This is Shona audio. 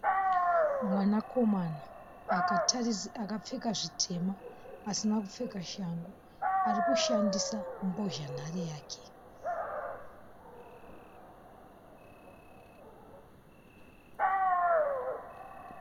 Mwanakomana akapfeka zvitema asina kupfeka shangu ari kushandisa mbozhanhare yake.